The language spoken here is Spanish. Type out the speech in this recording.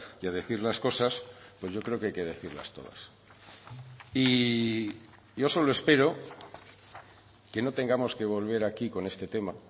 y a decir las cosas pues yo creo que hay que decirlas todas y yo solo espero que no tengamos que volver aquí con este tema